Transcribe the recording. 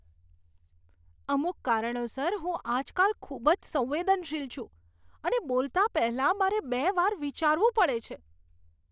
અમુક કારણોસર, હું આજકાલ ખૂબ જ સંવેદનશીલ છું અને બોલતાં પહેલાં મારે બે વાર વિચારવું પડે છે.